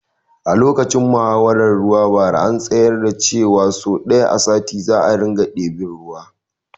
Lokacin muhawaran ruwa bara an tsayar da shawaran ce wa so ɗaya a sati za a ɗebi ruwa